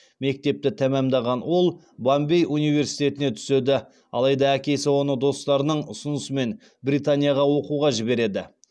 мектепті тәмамдаған ол бомбей университетіне түседі алайда әкесі оны достарының ұсынысымен британияға оқуға жібереді